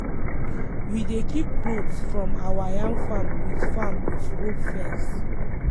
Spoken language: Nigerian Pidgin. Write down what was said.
we dey keep goat from our yam farm with farm with rope fence